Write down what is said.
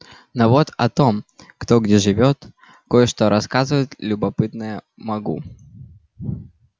но вот о том кто где живёт кое-что рассказывать любопытное могу